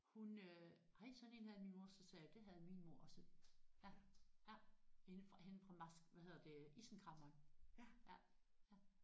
Hun øh ej sådan én havde min mor så sagde jeg det havde min mor også ja ja. Hende fra hende fra hvad hedder det isenkræmmeren ja ja